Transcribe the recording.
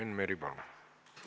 Enn Meri, palun!